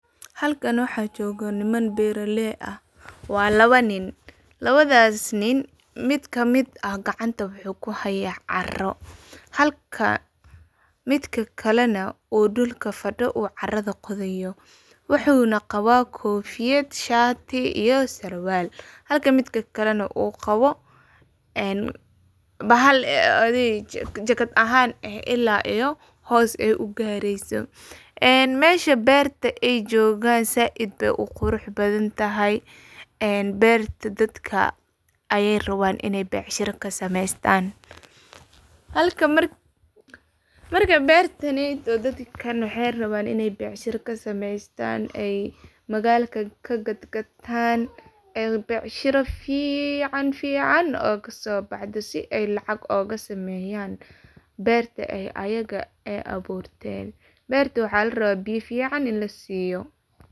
Halkan waxa jogoo waa niman beraley ah waa labo nin, labadas nin mid kamid ah gacanta wuxu kuhaya caro, halka midka kale nah uu dulka fadiyo uu carada qodayo, wuxu nah qaba kofiyad, shati iyo sarwal, halka midka kale uqabo bahal adhi jacket ahan eh ila iyo hos ugareyso, mesha berta ay jogan said bay uquruxbadantahay, berta dadka ayay raban inay becshira kasameystan marka bertani oo dadkan waxay raban inay becshira kasemeystan ay magalka kagagatan, ayada becshira fican fican ogasobaxdo si ay lacag ogasameyan berta oo ayaga aburten berta waxa laraba ini biya fican lasiyo.